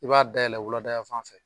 I b'a dayɛlɛn wulada yan fan fɛ